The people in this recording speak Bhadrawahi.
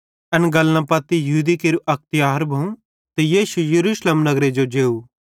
एन गल्लन पत्ती यहूदी केरू अक तिहार भोवं ते यीशु यरूशलेम नगरे जो जेव